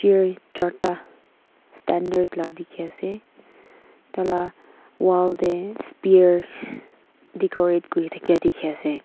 charta standard la dikhiase tala wall tey spear dicorate kurithaka dikhiase.